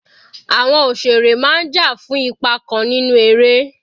Àwọn òṣèré máa ń jà fún ipa kan nínú eré.